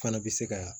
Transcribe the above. Fana bɛ se ka